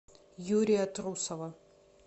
юрия трусова